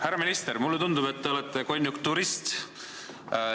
Härra minister, mulle tundub, et te olete konjunkturist.